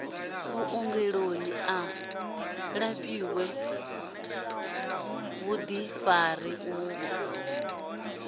vhuongeloni a lafhiwe vhuḓifari uvho